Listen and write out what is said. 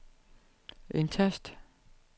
indtast